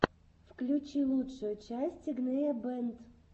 включи лучшую часть игнея бэнд